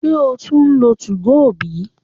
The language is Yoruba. se o tun nlo 2go bi?